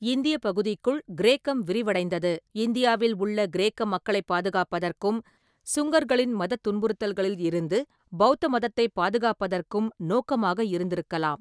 இந்தியப் பகுதிக்குள் கிரேக்கம் விரிவடைந்தது, இந்தியாவில் உள்ள கிரேக்க மக்களைப் பாதுகாப்பதற்கும், சுங்கர்களின் மதத் துன்புறுத்தல்களிலிருந்து பெளத்த மதத்தைப் பாதுகாப்பதற்கும் நோக்கமாக இருந்திருக்கலாம்.